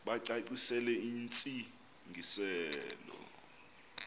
bacacisele intsi ngiselo